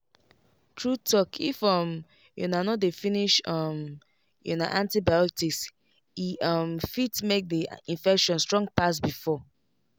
true talkif um una no dey finish um una antibiotics e um fit make the infection strong pass before.